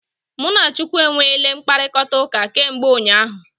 Mụ na Chukwu e nweele mkpakọrịtaụka kemgbe ụnyaahụ.